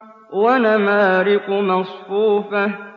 وَنَمَارِقُ مَصْفُوفَةٌ